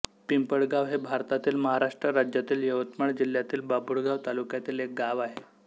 पिंपळगाव हे भारतातील महाराष्ट्र राज्यातील यवतमाळ जिल्ह्यातील बाभुळगाव तालुक्यातील एक गाव आहे